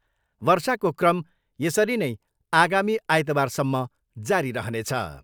वर्षाको क्रम यसरी नै आगामी आइतबारसम्म जारी रहनेछ।